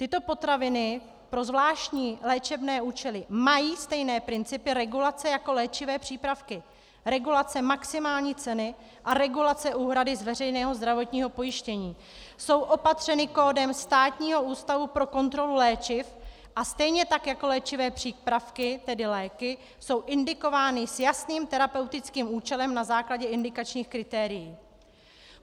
Tyto potraviny pro zvláštní léčebné účely mají stejné principy regulace jako léčivé přípravky - regulace maximální ceny a regulace úhrady z veřejného zdravotního pojištění, jsou opatřeny kódem Státního ústavu pro kontrolu léčiv a stejně tak jako léčivé přípravky, tedy léky, jsou indikovány s jasným terapeutickým účelem na základě indikačních kritérií.